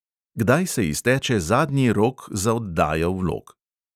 Kdaj se izteče zadnji rok za oddajo vlog?